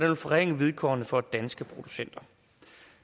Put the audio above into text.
vil forringe vilkårene for danske producenter